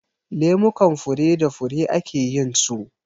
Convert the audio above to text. Lemukan fure da fure ake yin su.